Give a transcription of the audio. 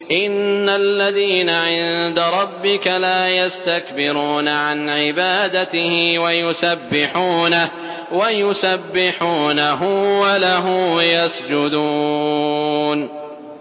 إِنَّ الَّذِينَ عِندَ رَبِّكَ لَا يَسْتَكْبِرُونَ عَنْ عِبَادَتِهِ وَيُسَبِّحُونَهُ وَلَهُ يَسْجُدُونَ ۩